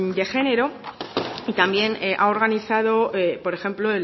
de género también ha organizado por ejemplo